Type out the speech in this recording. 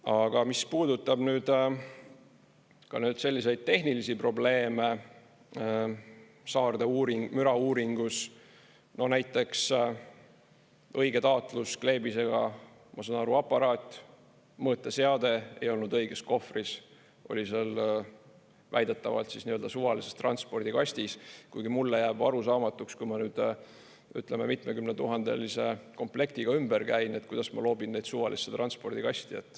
Aga mis puudutab nüüd ka selliseid tehnilisi probleeme Saarde mürauuringus, no näiteks õige taatluskleebisega, ma saan aru, aparaat, mõõteseade ei olnud õiges kohvris, oli seal väidetavalt suvalises transpordikastis, kuigi mulle jääb arusaamatuks, kui ma nüüd, ütleme, mitmekümnetuhandelise komplektiga ümber käin, et kuidas ma loobin neid suvalisse transpordikasti.